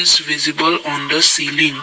it's visible on the ceiling.